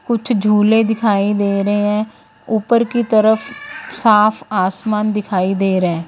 कुछ झूले दिखाई दे रहे हैं ऊपर की तरफ साफ आसमान दिखाई दे रहे हैं।